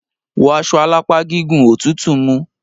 Wọ́ aṣọ alápá gígùn! Òtútù mú!